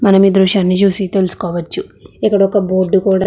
మనమీ దృశ్యాన్ని చూసి తెలుసుకోవచ్చు. ఇక్కడొక బోర్డు కూడా --